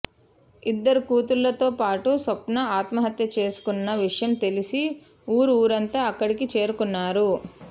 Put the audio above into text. ఇద్దరు కూతుళ్లతోపాటు స్వప్న ఆత్మహత్య చేసుకున్న విషయం తెలిసి ఊరు ఊరంతా అక్కడికి చేరుకున్నారు